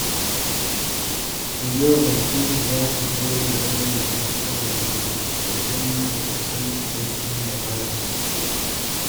Daga yau, Bilkisu za ta daina raina matsalar wasu idan ba ta san cikakken labarinsu ba.